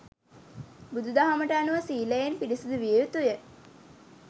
බුදු දහමට අනුව සීලයෙන් පිරිසුදු විය යුතු ය.